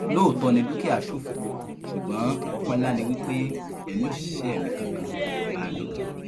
lóòótọ ni dúkìá ṣòfò ṣùgbọn ọpẹ ńlá ni wí pé èmi òṣìṣẹ mi kankan kò bá a lọ